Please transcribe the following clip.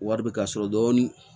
Wari bɛ ka sɔrɔ dɔɔni